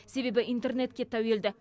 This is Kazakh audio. себебі интернетке тәуелді